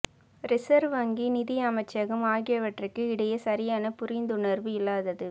reserve வங்கி நிதி அமைச்சகம் ஆகியவற்றுக்கு இடையே சரியான புரிந்துணர்வு இல்லாதது